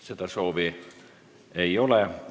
Seda soovi ei ole.